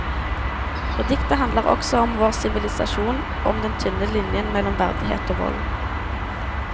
Og diktet handler også om vår sivilisasjon, om den tynne linjen mellom verdighet og vold.